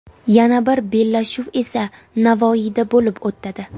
Yana bir bellashuv esa Navoiyda bo‘lib o‘tadi.